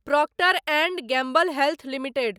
Procter and Gamble health limited